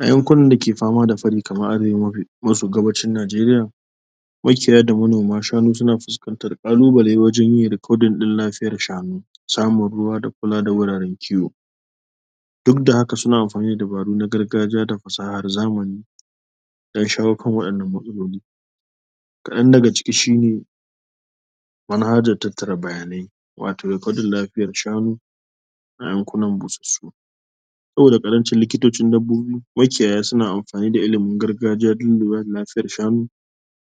A yankunan da ke fama da fari kamar arewa maso gabacin Najeriya, makiyaya da manoma shanu na fuskantar ƙalubale wajan yin recording ɗin lafiyar shanun su, samun ruwa da kula da wuraren kiwo. Duk da haka suna amfani da dabaru na gargajiya da fasaha na zamani, don shawo kan waɗannan matsaloli. kaɗan daga ciki shine: manhajan tattara bayanai, wato recording lafiyar shanu a yankunan busussu. Saboda ƙarancin likitocin dabbobi, makiyaya suna amfani da ilimin gargajiya dun lura da lafiyar shanu,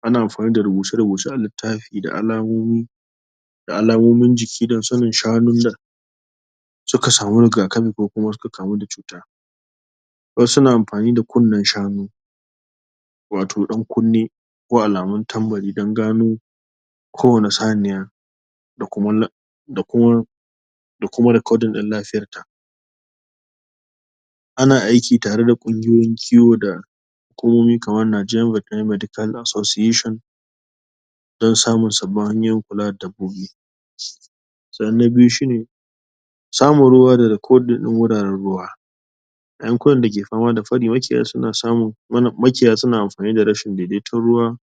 ana amfani da rubuce-rubuce a littafi da alamomi da alamomin jiki, don sanin shanun da suka sami rigakafi ko kuma suka kamu da cuta. Kuma suna amfani da kunnen shanu, wato ɗan kunne, ko alamun tambari don gano ko wani saniya, da kuma da kuma recording ɗin lafiyar ta. Ana aiki tare da ƙungiyoyin kiwo da hukumomi kamar Naija Vetnary Medical Association, don samun sabbin hanyoyin kula da dabbobi. Sannan na biyu shine, samun ruwa da recording ɗin ruwa. A yankunan da ke fama da fari, makiyaya suna samunn makiyaya suna amfani da rashin daidaiton ruwa,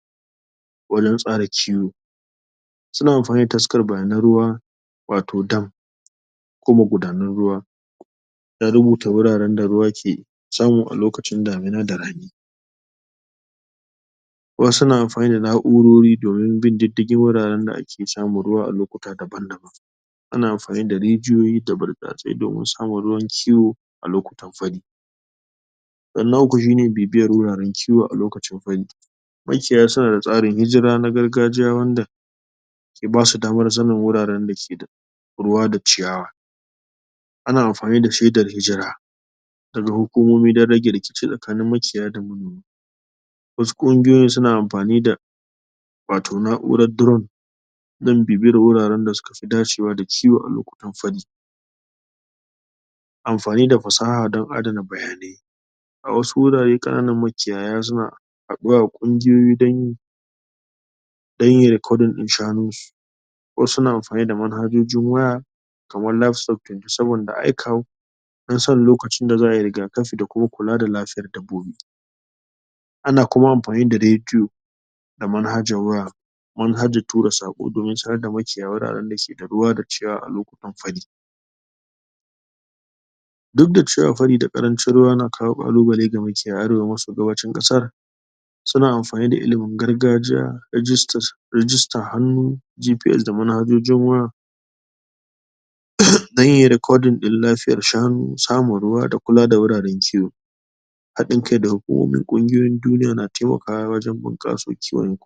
wajan tsara kiwo. Suna amfani da taskar bayanan ruwa wato dam, ko magudanan ruwa, dan rubuta wuraren da ruwa ke samu a lokacin damina da rani. Wasu na amfani da na'urori, domin bin diddigin wuraren da ake samun ruwa a lokuta daban-daban. Ana amfani da rijiyoyi, da butsatsai domin samun wurin kiwo a lokutan fari. Sannan na uku shine, bibiyar wuraren kiwo a lokacin fari. Makiyaya suna da tsarin hijira na gargajiya, wanda ke basu daman sanin wuraren da ke da ruwa da ciyawa. Ana amfani da shaidar hijira daga hukumomi, dan rage rikice tsakanin makiyaya da manoma. Wasu ƙungiyoyin suna amfani da wato na'urar drone, don bibiyar wuraren da suka fi dacewa da kiwo a lokacin fari. Amfani da fasaha don adana bayanai. A wasu wurare, ƙananan makiyaya suna haɗuwa a ƙungiyoyi dan dan yayi recording ɗin shanun shi, ko suna amfani da manhajojin waya, kaman lab software, saboda don sanin lokacin da za ayi rigakafi, da kuma da lafiyar dabbobi. Ana kuma amfani da rediyo da manhajan waya, manhajan tura saƙo, domin sanar da makiyaya wuraren da ke da ruwa da ciyawa a lokutan fari. Duk da cewa fari da ƙarancin ruwa na kawo ƙalubale ga makiyaya daga maso gabacin ƙasar, suna amfani da ilimin gargajiya registan hannu, GPS da manhajojin waya, da yin recording ɗin lafiyar shanu, samun ruwa da kula da wuraren kiwo. Haɗin kai daga hukumomin ƙungiyoyin duniya, na taimakawa wajan bunƙasa kiwon.